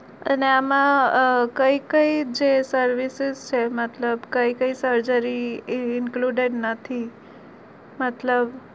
અને આમાં અ કઈ કઈ જે service છે મતલબ કઈ કઈ surgery include નથી મતલબ